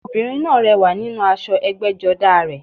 Obìnrin náà rẹwà nínú aṣọ ẹgbẹ́jọdá a rẹ̀